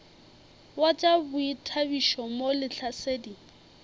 wa tša boithabišo mo lehlasedi